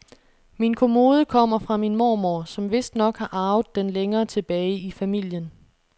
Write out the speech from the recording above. Min kommode kommer fra min mormor, som vistnok har arvet den længere tilbage i familien.